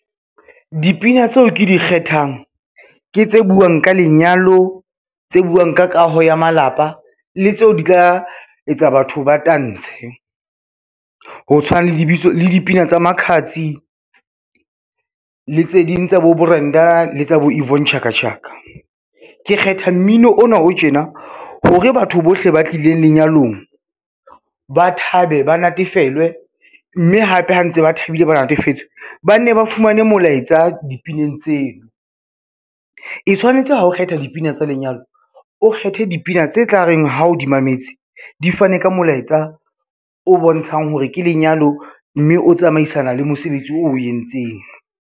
Dipina tseo ke di kgethang, ke tse buang ka lenyalo, tse buang ka kaho ya malapa le tseo di tla etsa batho ba tantshe. Ho tshwana le dipina tsa Makhadzi le tse ding tsa bo Brenda le tsa bo Yvonne Chaka Chaka. Ke kgetha mmino ona o tjena hore batho bohle ba tlileng lenyalong, ba thabe, ba natefelwe, mme hape ha ntse ba thabile, ba natefetswe, ba nne ba fumane molaetsa dipineng tseo. E tshwanetse hao kgetha dipina tsa lenyalo, o kgethe dipina tse tla reng ha o di mametse di fane ka molaetsa o bontshang hore ke lenyalo, mme o tsamaisana le mosebetsi o entseng.